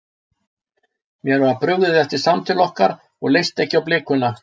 Mér var brugðið eftir samtal okkar og leist ekki á blikuna.